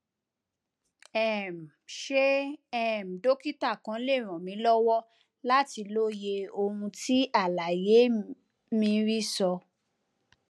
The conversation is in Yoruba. um ṣé um dókítà kan lè ràn mí lọwọ láti lóye ohun tí àlàyé mri sọ